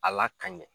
A la ka ɲɛ